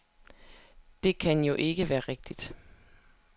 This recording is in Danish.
Det kan jo ikke være rigtigt.